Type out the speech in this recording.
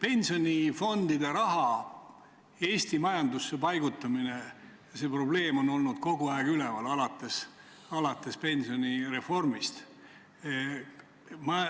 Pensionifondide raha Eesti majandusse paigutamise probleem on pensionireformist alates olnud kogu aeg üleval.